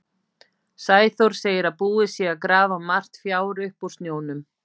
Sæþór segir að búið sé að grafa margt fjár upp úr snjónum.